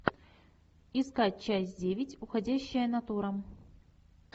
искать часть девять уходящая натура